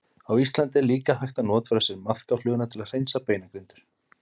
Á Íslandi er líka hægt að notfæra sér maðkafluguna til að hreinsa beinagrindur.